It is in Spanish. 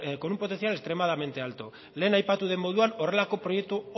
con un potencial extremadamente alto lehen aipatu den moduan horrelako oso proiektu